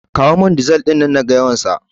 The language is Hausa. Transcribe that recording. Ka kawo man dizal ɗin nan naga yawansa